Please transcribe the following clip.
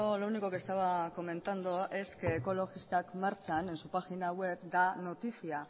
lo único que estaba comentando es que ekologistak martxan en su página web da noticia